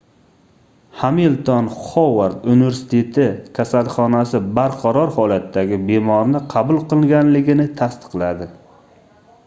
hamilton xovard universiteti kasalxonasi barqaror holatdagi bemorni qabul qilganligini tasdiqladi